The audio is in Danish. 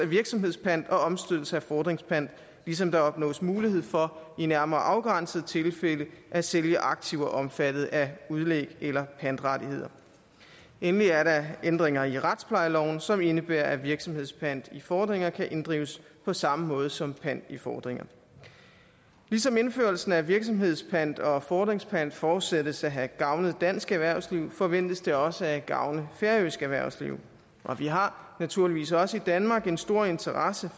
virksomhedspant og omstødelse af fordringspant ligesom der opnås mulighed for i nærmere afgrænsede tilfælde at sælge aktiver omfattet af udlæg eller pantrettigheder endelig er der ændringer i retsplejeloven som indebærer at virksomhedspant i fordringer kan inddrives på samme måde som pant i fordringer ligesom indførelsen af virksomhedspant og fordringspant forudsættes at have gavnet dansk erhvervsliv forventes det også at gavne færøsk erhvervsliv og vi har naturligvis også i danmark en stor interesse